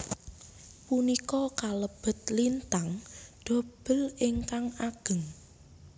Punika kalebet lintang dobel ingkang ageng